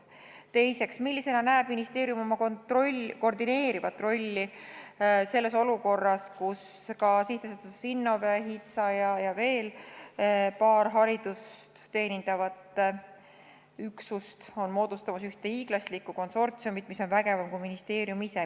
Teiseks, millisena näeb ministeerium oma koordineerivat rolli olukorras, kus SA Innove, HITSA ja veel paar haridust teenindavat üksust on moodustamas ühte hiiglaslikku konsortsiumi, mis on vägevam kui ministeerium ise?